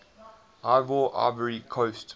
ivoire ivory coast